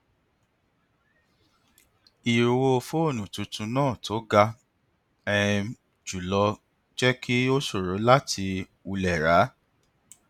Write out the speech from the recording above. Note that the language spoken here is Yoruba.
ìye owó fóònù tuntun náà tó ga um jù lọ jẹ kí ó ṣòro láti wulẹ ra á